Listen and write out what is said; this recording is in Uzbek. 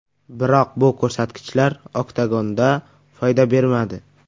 Biroq bu ko‘rsatkichlar oktagonda foyda bermadi.